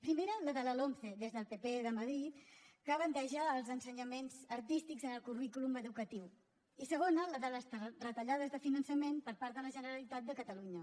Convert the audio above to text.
primera la de la lomce des del pp de madrid que bandeja els ensenyaments artístics en el currículum educatiu i segona les de les retallades de finançament per part de la generalitat de catalunya